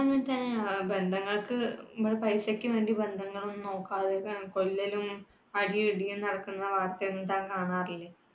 അത് അങ്ങനത്തെ അഹ് ബന്ധങ്ങൾക്ക് പൈസക്ക് വേണ്ടി ബന്ധങ്ങളൊന്നും നോക്കാതെ, കൊല്ലലും, അടിയും ഇടിയും നടക്കുന്ന വാര്‍ത്ത എന്താ കാണാറില്ലേ.